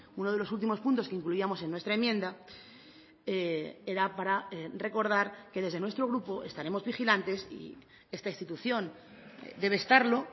uno de los últimos puntos que incluíamos en nuestra enmienda era para recordar que desde nuestro grupo estaremos vigilantes y esta institución debe estarlo